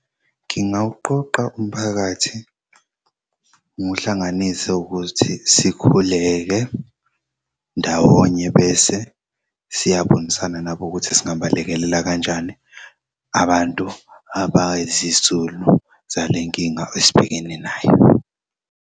Ngingawuqoqa umphakathi ngiwuhlanganise ukuthi sikhuleke ndawonye bese siyabonisana nabo ukuthi singabalekelela kanjani abantu abay'zisulu zalenkinga esibhekene nayo.